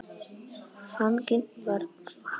Þannig var hann.